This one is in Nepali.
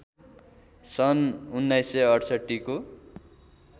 सन् १९६८ को